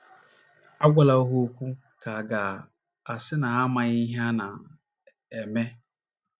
Agwala ha okwu ka à ga - asị na ha amaghị ihe ha na - eme.